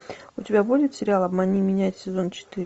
у тебя будет сериал обмани меня сезон четыре